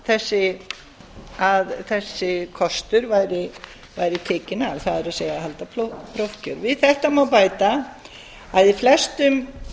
segja að þessi kostur væri tekinn af það er að halda prófkjör við þetta má bæta að í flestum